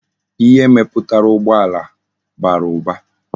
Ihe mejuputara ugbo ala bara uba